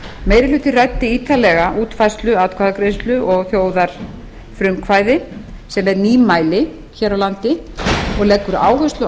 meiri hlutinn ræddi ítarlega útfærslu atkvæðagreiðslu og þjóðarfrumkvæði sem er nýmæli hér á landi og leggur áherslu